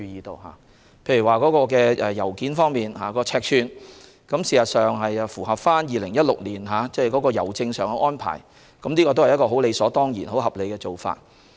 例如在郵件尺寸方面，作出相關修訂旨在符合香港郵政2016年起的新郵費結構，是理所當然及合理的做法。